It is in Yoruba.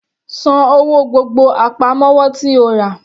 San owó gbogbo àpamọ́wọ́ tí o rà.